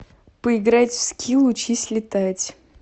поиграть в скилл учись летать